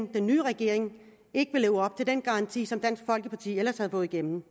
den nye regering ikke vil leve op til den garanti som dansk folkeparti ellers havde fået igennem